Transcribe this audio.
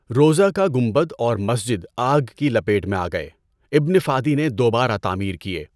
روضہ کا گنبد اور مسجد آگ کی لپیٹ میں آ گئے۔ ابن فادی نے دوبارہ تعمیر کیے۔